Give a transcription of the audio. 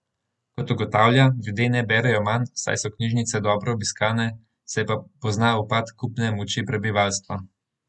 Kot ugotavlja, ljudje ne berejo manj, saj so knjižnice dobro obiskane, se pa pozna upad kupne moči prebivalstva.